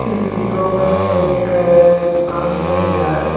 इस चित्रों में एक दुकान दिखाई दे रहा है।